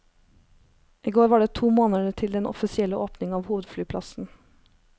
I går var det to måneder til den offisielle åpning av hovedflyplassen.